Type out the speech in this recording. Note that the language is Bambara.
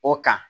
O kan